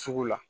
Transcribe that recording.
Sugu la